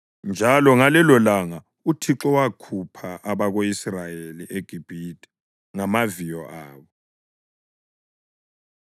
Njalo ngalelolanga uThixo wakhupha abako-Israyeli eGibhithe ngamaviyo abo.